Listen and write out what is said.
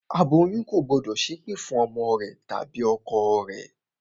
Aboyún ò gbọ́dọ̀ ṣẹ́ ẹ̀pẹ̀ fún ọmọ rẹ tàbí ọkọ rẹ